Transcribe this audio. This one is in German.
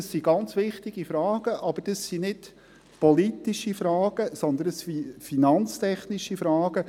Dies sind ganz wichtige Fragen, aber es sind nicht politische Fragen, sondern finanztechnische Fragen.